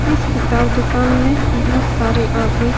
इस किताब दुकान में बहोत सारे आदमी --.